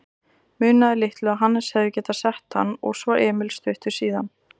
Munaði litlu að Hannes hefði getað sett hann og svo Emil stuttu síðar.